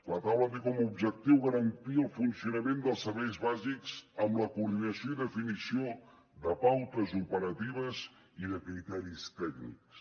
la taula té com a objectiu garantir el funcionament dels serveis bàsics amb la coordinació i definició de pautes operatives i de criteris tècnics